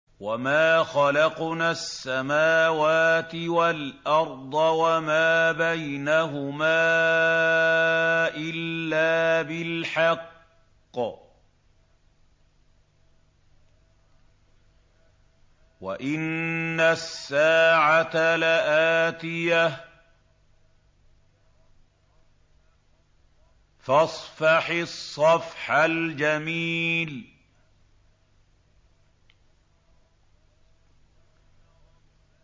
وَمَا خَلَقْنَا السَّمَاوَاتِ وَالْأَرْضَ وَمَا بَيْنَهُمَا إِلَّا بِالْحَقِّ ۗ وَإِنَّ السَّاعَةَ لَآتِيَةٌ ۖ فَاصْفَحِ الصَّفْحَ الْجَمِيلَ